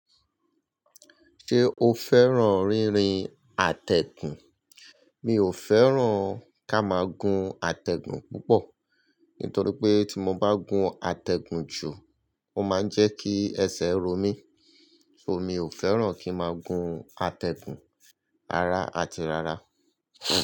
Ṣé o fẹ́ràn rírin àtẹ̀gùn? Mi ò fẹ́ràn ká máa gun àtẹ̀gùn púpọ̀, nítorí pé tí mo bá gun àtẹ̀gùn jù, ó máa ń jẹ́ kí ẹsẹ̀ ro mí, so mi ò fẹ́ràn kí máa gun àtẹ̀gùn ara àti rara.